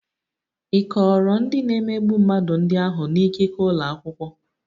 Ị kọọrọ ndị na-emegbu mmadụ ndị ahụ na ikike ụlọ akwụkwọ?